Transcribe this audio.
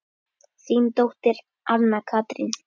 Þín dóttir, Anna Katrín.